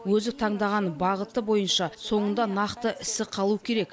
өзі таңдаған бағыты бойынша соңында нақты ісі қалу керек